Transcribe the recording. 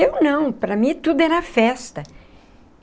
Eu não, para mim tudo era festa.